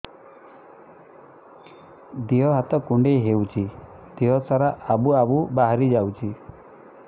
ଦିହ ହାତ କୁଣ୍ଡେଇ ହଉଛି ଦିହ ସାରା ଆବୁ ଆବୁ ବାହାରି ଯାଉଛି